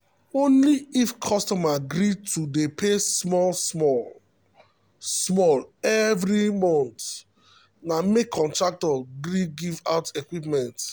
only if customer gree to dey pay small small small small every month na make contractor gree give out equipment.